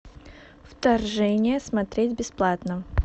вторжение смотреть бесплатно